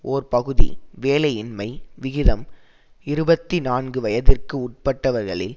ஒரு பகுதி வேலையின்மை விகிதம் இருபத்தி நான்கு வயதிற்கு உட்பட்டவர்களில்